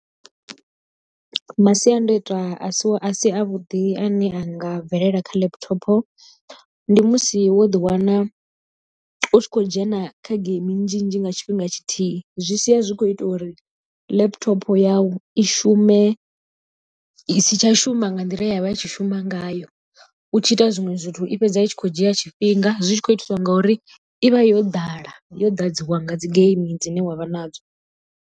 Masiandaitwa a si a si a vhuḓi a ne a nga bvelela kha laptopo ndi musi wo ḓiwana u tshi khou dzhena kha geimi nnzhi nnzhi nga tshifhinga tshithihi. Zwi sia zwi kho ita uri laptop yau i shume isi tsha shuma nga nḓila ye ya vha i tshi shuma ngayo, u tshi ita zwiṅwe zwithu i fhedza itshi kho dzhia tshifhinga zwi tshi khou itiswa ngauri i vha yo ḓala yo ḓadziwa nga dzi geimi dzine wa vha nadzo.